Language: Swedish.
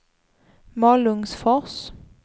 Malungsfors